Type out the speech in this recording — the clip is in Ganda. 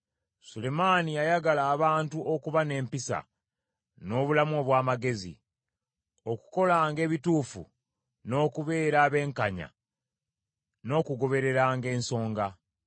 Sulemaani yayagala abantu okuba n’empisa, n’obulamu obw’amagezi, okukolanga ebituufu, n’okubeera abenkanya n’okugobereranga ensonga;